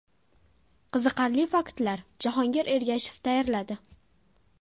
Qiziqarli faktlar: Jahongir Ergashev tayyorladi.